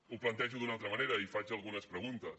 ho plantejo d’una altra manera i faig algunes preguntes